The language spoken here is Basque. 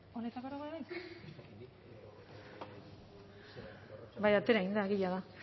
bai atera egin da egia da